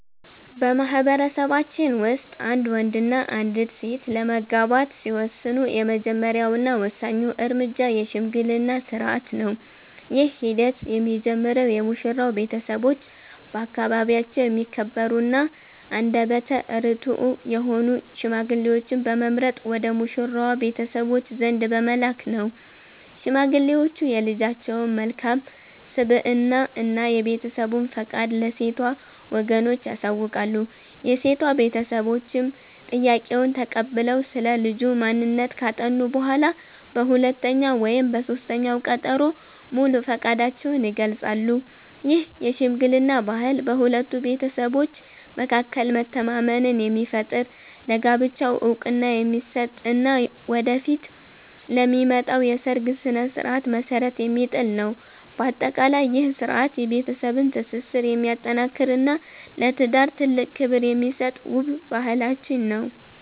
በማኅበረሰባችን ውስጥ አንድ ወንድና አንዲት ሴት ለመጋባት ሲወስኑ፣ የመጀመሪያውና ወሳኙ እርምጃ የሽምግልና ሥርዓት ነው። ይህ ሂደት የሚጀምረው የሙሽራው ቤተሰቦች በአካባቢያቸው የሚከበሩና አንደበተ ርትዑ የሆኑ ሽማግሌዎችን በመምረጥ ወደ ሙሽራዋ ቤተሰቦች ዘንድ በመላክ ነው። ሽማግሌዎቹ የልጃቸውን መልካም ስብዕና እና የቤተሰቡን ፈቃድ ለሴቷ ወገኖች ያሳውቃሉ። የሴቷ ቤተሰቦችም ጥያቄውን ተቀብለው ስለ ልጁ ማንነት ካጠኑ በኋላ፣ በሁለተኛው ወይም በሦስተኛው ቀጠሮ ሙሉ ፈቃዳቸውን ይገልጻሉ። ይህ የሽምግልና ባህል በሁለቱ ቤተሰቦች መካከል መተማመንን የሚፈጥር፣ ለጋብቻው ዕውቅና የሚሰጥ እና ወደፊት ለሚመጣው የሰርግ ሥነ ሥርዓት መሠረት የሚጥል ነው። በአጠቃላይ፣ ይህ ሥርዓት የቤተሰብን ትስስር የሚያጠናክርና ለትዳር ትልቅ ክብር የሚሰጥ ውብ ባህላችን ነው።